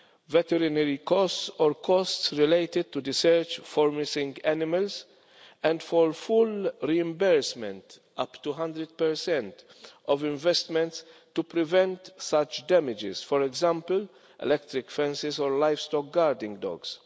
veterinary costs or costs related to the search for missing animals, and for full reimbursement, up to 100, of investments to prevent such damage for example in electric fences or livestock guarding dogs.